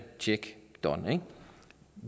tjekke done ikke